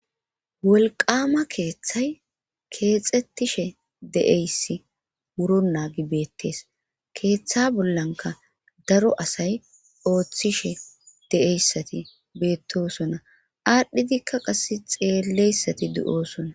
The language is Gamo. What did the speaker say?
wolqama keeththay keexxettishe deeyssi wuro naagi beettes keeththa bollanka daro asay ooththishe de7eyssati beettosona aadhdhidikka qas xeelleyssati du7osona